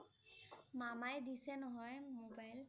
মামায়ে দিছে নহয় mobile ।